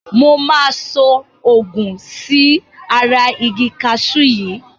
Mo máa so òògun sí ara igi kaṣú yìí.